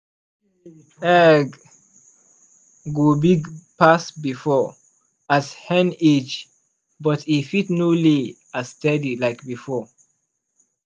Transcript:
egg go big pass before as hen age but e fit no lay as steady like before.